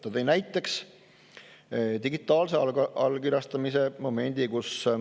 Ta tõi näiteks digitaalse allkirjastamise.